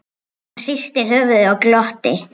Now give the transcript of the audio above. Hann hristi höfuðið og glotti.